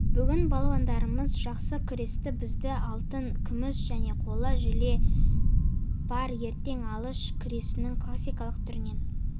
бүгін балуандарымыз жақсы күресті бізде алтын күміс және қола жүле бар ертең алыш күресінің классикалық түрінен